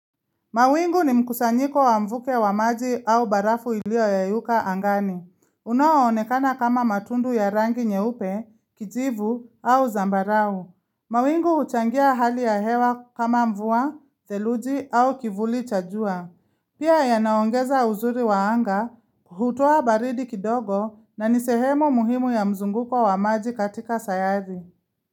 Mawingu ni mkusanyiko wa mvuke wa maji au barafu ilioyayuka angani. Unaoonekana kama matundu ya rangi nyeupe, kijivu au zambarau. Mawingu huchangia hali ya hewa kama mvua, theluji au kivuli cha jua. Pia yanaongeza uzuri waanga, hutoa baridi kidogo na ni sehemu muhimu ya mzunguko wa maji katika sayari.